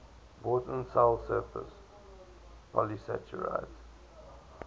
important cell surface polysaccharides